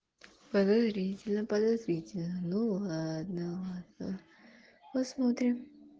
подозрительно подозрительно ну ладно ладно посмотрим